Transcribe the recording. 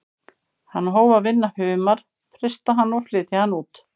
Hann hóf að vinna humar, frysta hann og flytja hann út.